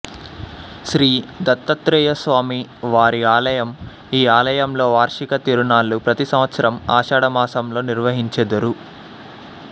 శ్రీ దత్తాత్రేయస్వామివారి ఆలయం ఈ ఆలయంలో వార్షిక తిరునాళ్ళు ప్రతి సంవత్సరం ఆషాఢమాసంలో నిర్వహించెదరు